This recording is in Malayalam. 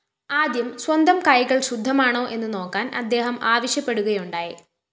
ആദ്യം സ്വന്തം കൈകള്‍ ശുദ്ധമാണോ എന്നുനോക്കാന്‍ അദ്ദേഹം ആവശ്യപ്പെടുകയുണ്ടായി